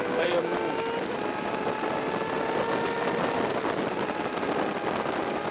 kweyomqungu